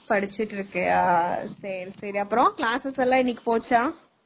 படிச்சுட்டு இருக்கியா சரி, சரி.அப்பறம் classes எல்லாம் இன்னைக்கு போச்சா?